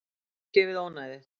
Þið fyrirgefið ónæðið.